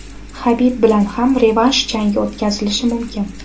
Habib bilan ham revansh jangi o‘tkazilishi mumkin.